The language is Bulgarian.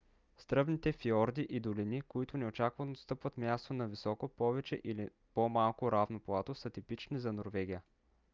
стръмните фиорди и долини които неочаквано отстъпват място на високо повече или по-малко равно плато са типични за норвегия